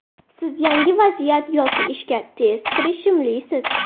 Siz yangi vaziyat yoki ishga tez kirishimlisiz.